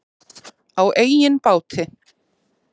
Á eigin báti.